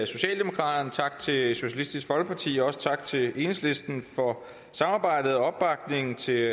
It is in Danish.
socialdemokraterne tak til socialistisk folkeparti og også tak til enhedslisten for samarbejdet og opbakningen til